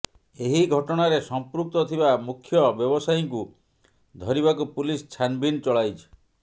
ଏହି ଘଟଣାରେ ସଂପୃକ୍ତ ଥିବା ମୁଖ୍ୟ ବ୍ୟବସାୟୀଙ୍କୁ ଧରିବାକୁ ପୁଲିସ ଛାନଭିନ ଚଳାଇଛି